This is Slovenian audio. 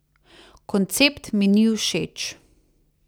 Koncept mi ni všeč.